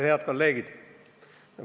Head kolleegid!